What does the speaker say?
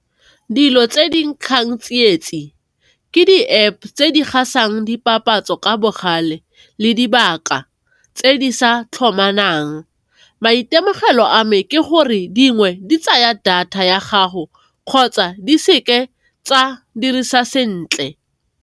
Dilo tse di nkgang tsietsi, ke di App tse di gasang dipapatso ka bogale, le dibaka tse di sa tlhomamang maitemogelo a me ke gore dingwe di tsaya data ya gago kgotsa di seke tsa dirisa sentle.